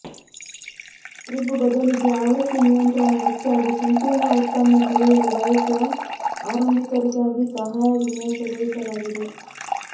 crib ಬದಲಿಗೆ ಆವೃತ್ತಿ ನಿಯಂತ್ರಣ ಹೆಚ್ಚಾಗಿ ಸಂಕೀರ್ಣ ಉತ್ಪನ್ನ ತಿಳಿಯಲು ಬಯಸುವ ಆರಂಭಿಕರಿಗಾಗಿ ಸಹಾಯ ವಿನ್ಯಾಸಗೊಳಿಸಲಾಗಿದೆ